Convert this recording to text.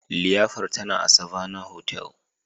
liyafar tana a Savannah hotel